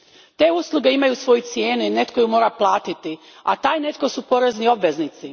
Te usluge imaju svoju cijenu i netko ju mora platiti, a taj netko su porezni obveznici.